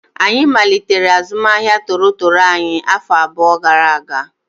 Anyị malitere azụmahịa toro toro anyị afọ abụọ gara aga